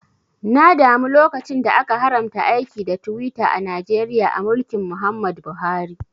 Na damu lokacin da aka haramta aiki da Twitter a Najeriya a mulkin Muhammad Buhari